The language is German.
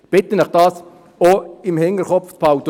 Ich bitte Sie, das auch im Hinterkopf zu behalten.